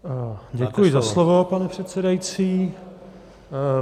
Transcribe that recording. Děkuji za slovo, pane předsedající.